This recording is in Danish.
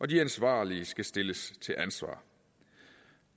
de ansvarlige skal stilles til ansvar